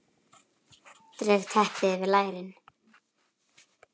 Dreg teppið yfir lærin.